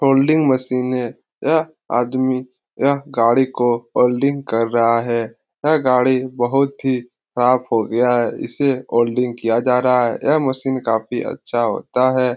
Holding machine है यह आदमी यह गाड़ी को होलडिंग कर रहा है यह गाड़ी बहुत ही साफ़ हो गया है इसे होलडिंग किया जा रहा है यह मशीन काफ़ी अच्छा होता है।